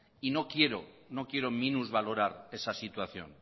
y no quiero minusvaloras esa situación